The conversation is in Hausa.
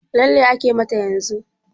Lalle ake mata yanzun?